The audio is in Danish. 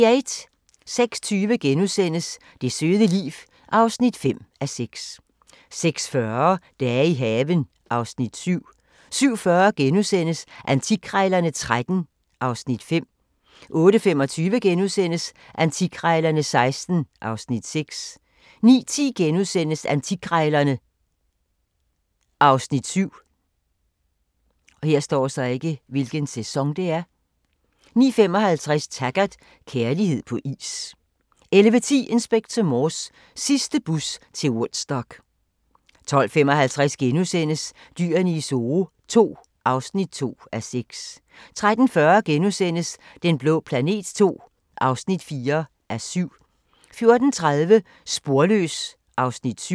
06:20: Det søde liv (5:6)* 06:40: Dage i haven (Afs. 7) 07:40: Antikkrejlerne XIII (Afs. 5)* 08:25: Antikkrejlerne XIII (Afs. 6)* 09:10: Antikkrejlerne (Afs. 7)* 09:55: Taggart: Kærlighed på is 11:10: Inspector Morse: Sidste bus til Woodstock 12:55: Dyrene i Zoo II (2:6)* 13:40: Den blå planet II (4:7)* 14:30: Sporløs (Afs. 7)